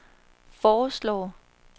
foreslår